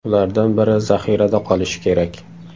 Ulardan biri zaxirada qolishi kerak.